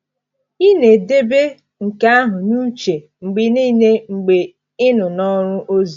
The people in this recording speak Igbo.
Ị na-edebe nke ahụ n’uche mgbe niile mgbe ị nọ n’ọrụ ozi?